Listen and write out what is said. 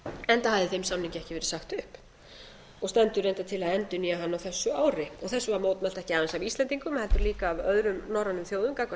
enda hafði þeim samningi ekki verið sagt upp og stendur reyndar til að endurnýja hann á þessu ári þessu var mótmælt ekki aðeins af íslendingum heldur líka af öðrum norrænum þjóðum gagnvart